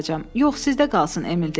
Yox, sizdə qalsın, Emil dedi.